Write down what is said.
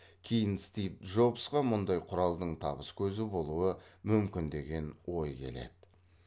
кейін стив джобсқа мұндай құралдың табыс көзі болуы мүмкін деген ой келеді